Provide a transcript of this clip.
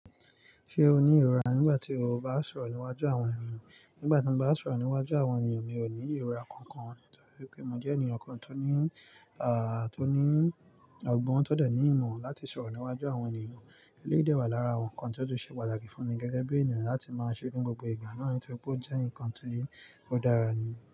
Ṣé o ní ìrora nígbà tí o bá ń sọ̀rọ̀ níwájú àwọn ènìyàn? Nígbà tí mo bá ń sọ̀rọ̀ níwájú àwọn ènìyàn, mi ò ní ìrora kankan nítorí pé mo jẹ́ ènìyàn kan tó ní, à, tó ní ọgbọ́n tó dẹ̀ ní ìmọ̀ láti sọ̀rọ̀ níwájú àwọn ènìyàn. Eléyìí dẹwà lára àwọn nǹkan tí ó tó ṣe pàtàkì fún mi gẹ́gẹ́ bí ènìyàn láti máa ṣe nínú gbogbo ìgbà náà nítorí pé ó jẹ́ nǹkan tí ó dára ni.